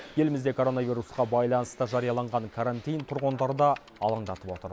елімізде коронавирусқа байланысты жарияланған карантин тұрғындары да алаңдатып отыр